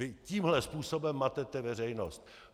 Vy tímhle způsobem matete veřejnost.